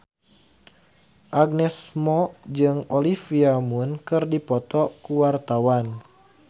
Agnes Mo jeung Olivia Munn keur dipoto ku wartawan